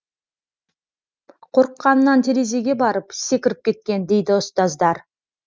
қорыққанынан терезеге барып секіріп кеткен дейді ұстаздар